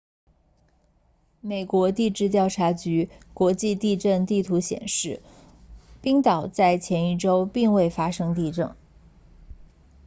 美国地质调查局国际地震地图显示冰岛在前一周并未发生地震